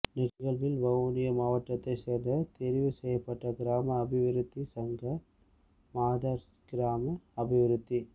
நிகழ்வில் வவுனியா மாவட்டத்தை சேர்ந்த தெரிவு செய்யப்பட்ட கிராம அபிவிருத்தி சங்கம் மாதர் கிராம அபிவிருத்தி